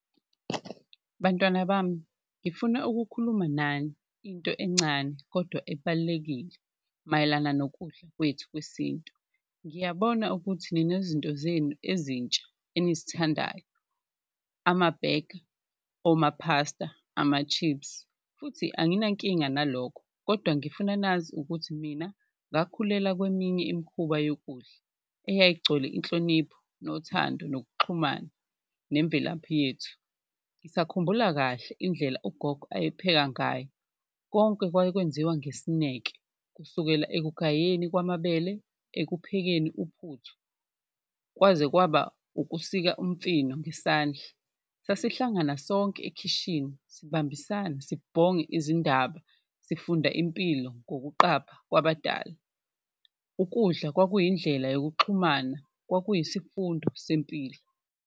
Bantwana bami ngifuna ukukhuluma nani into encane kodwa ebalulekile mayelana nokudla kwethu kwesintu, ngiyabona ukuthi ninezinto zenu ezintsha enizithandayo amabhega, omaphasta, ama-chips futhi anginankinga nalokho kodwa ngifuna nazi ukuthi mina ngakhulela kweminye imikhuba yokudla eyayigcwele inhlonipho, nothando nokuxhumana nemvelaphi yethu. Ngisakhumbula kahle indlela ugogo ayepheka ngayo konke kwaye kwenziwa ngesineke, kusukela ekugayeni kwamabele, ekuphekeni uphuthu kwaze kwaba ukusika umfino ngesandla. Sasihlangana sonke ekhishini sibambisane, sibhonge izindaba, sifunda impilo ngokuqapha kwabadala, ukudla kwakuyindlela yokuxhumana, kwakuyisifundo sempilo.